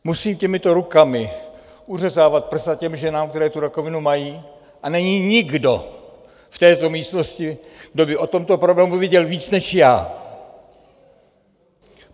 Musím těmato rukama uřezávat prsa těm ženám, které tu rakovinu mají, a není nikdo v této místnosti, kdo by o tomto problému věděl víc než já.